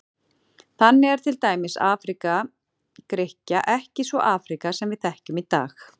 Þannig er til dæmis Afríka Grikkja ekki sú Afríka sem við þekkjum í dag.